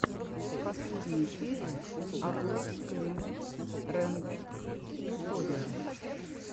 последняя серия агоез клемод рэндом тьюториалс